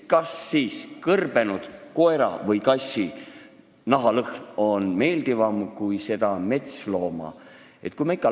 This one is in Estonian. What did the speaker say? Kas siis kõrbenud koera- või kassinaha lõhn on meeldivam kui metslooma oma?